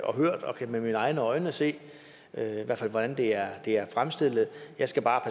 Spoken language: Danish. og hørt og kan med mine egne øjne se hvordan det er det er fremstillet jeg skal bare